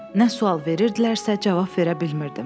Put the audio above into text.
Nə sual verirdilərsə cavab verə bilmirdim.